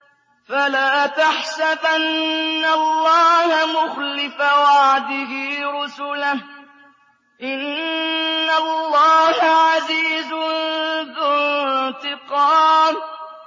فَلَا تَحْسَبَنَّ اللَّهَ مُخْلِفَ وَعْدِهِ رُسُلَهُ ۗ إِنَّ اللَّهَ عَزِيزٌ ذُو انتِقَامٍ